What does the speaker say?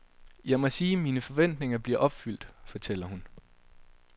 Jeg må sige, mine forventninger bliver opfyldt, fortæller hun.